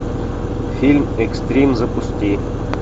фильм экстрим запусти